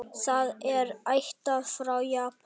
Það er ættað frá Japan.